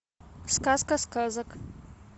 сказка сказок